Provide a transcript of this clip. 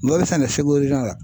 Ɲɔ bɛ sɛnɛ Segu la.